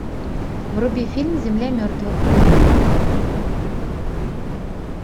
вруби фильм земля мертвых